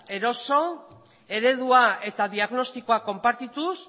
eroso eredua eta diagnostikoa konpartituz